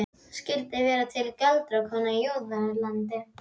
Skyldu vera til galdrakonur í Júðalandi?